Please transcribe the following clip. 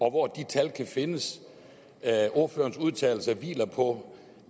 og hvor de tal kan findes ordførerens udtalelser hviler på